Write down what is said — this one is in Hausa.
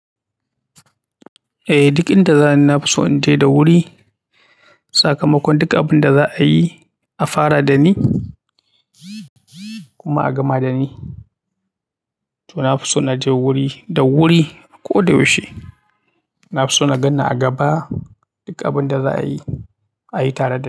Eh, duk inda za ni na fi so in je da wuri. Sakamakon duk abin da za a yi, a fara da ni kuma a gama da ni. To na fi so na je wuri da wuri ko da yaushe. Na fi so na ganni a gaba duk abin da za a yi, a yi tare da ni.